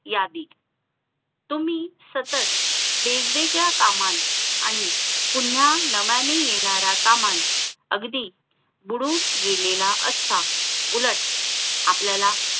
यावी तुम्ही सतत वेगवेगळ्या कामात आणि पुन्हा नव्याने येणाऱ्या कामात अगदी बुडून गेलेला असता उलट आपल्याला